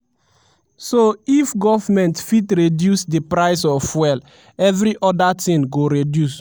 so if goment fit reduce di price of fuel evri oda tin go reduce."